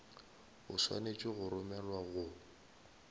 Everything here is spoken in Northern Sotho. o swanetše go romelwa go